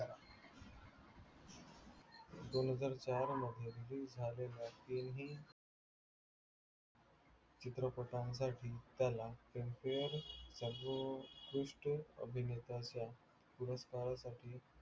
दोन हजार चार मध्ये release झालेला तिन्ही चित्रपटासाठी त्याला filmfare जो उत्कृष्ट अभिनेता पुरस्कारा साठी